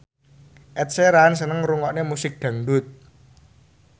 Ed Sheeran seneng ngrungokne musik dangdut